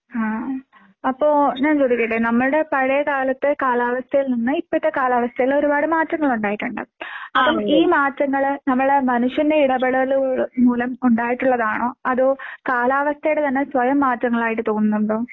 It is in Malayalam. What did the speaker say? ആഹ് അപ്പൊ ഞാൻ ചോദിക്കട്ടെ നമ്മടെ പഴയകാലത്തെ കാലാവസ്ഥയിൽ നിന്ന് ഇപ്പഴത്തെ കാലാവസ്ഥയിൽ ഒരുപാട് മാറ്റങ്ങൾ ഉണ്ടായിട്ടുണ്ട്. ഈ മാറ്റങ്ങള് നമ്മള് മനുഷ്യന്റെ ഇടപെടല് മൂലം ഉണ്ടായിട്ടുള്ളതാണോ അതോ കാലാവസ്ഥയുടെ തന്നെ സ്വയം മാറ്റങ്ങളായിട്ട് തോന്നുന്നുണ്ടോ?